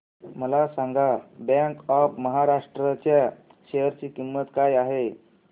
मला सांगा bank of Maharashtra च्या शेअर ची किंमत काय आहे